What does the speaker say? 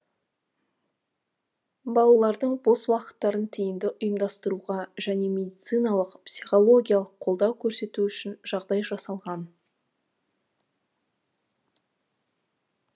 балалардың бос уақыттарын тиімді ұйымдастыруға және медициналық психологиялық қолдау көрсету үшін жағдай жасалған